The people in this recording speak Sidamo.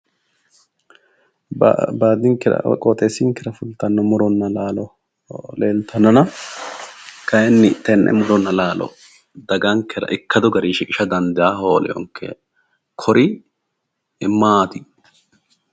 Baadinkera woyi qoxensinkera fultanno muronna laalo leeltannona kayinni tenne muronna laalo dagankera ikkadu gari shiqisha dandaa holewonke kori maati